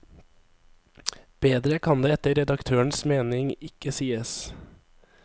Bedre kan det etter redaktørens mening ikke sies.